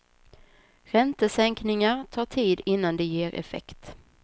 Räntesänkningar tar tid innan de ger effekt.